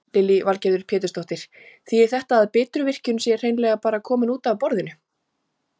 Lillý Valgerður Pétursdóttir: Þýðir þetta að Bitruvirkjun sé hreinlega bara komin út af borðinu?